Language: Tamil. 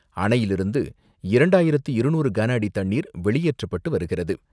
அணையிலிருந்து இரண்டாயிரத்து இருநூறு கனஅடி தண்ணீர் வெளியேற்றப்பட்டு வருகிறது.